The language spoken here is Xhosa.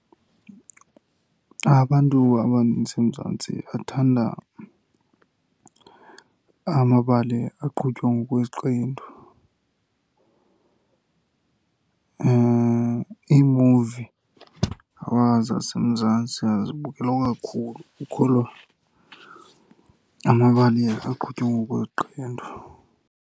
Abantu abaninzi eMzantsi bathanda amabali aqhutywa ngokweziqendu. Iimuvi zaseMzantsi azibukelwa kakhulu kukholwa amabali aqhutywa ngokweziqendu.